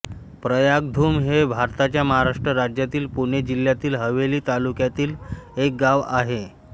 प्रयागधुम हे भारताच्या महाराष्ट्र राज्यातील पुणे जिल्ह्यातील हवेली तालुक्यातील एक गाव आहे